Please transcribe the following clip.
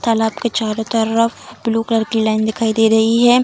तालाब के चारों तरफ ब्लू कलर की लाइन दिखाई दे रही है।